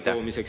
Aitäh!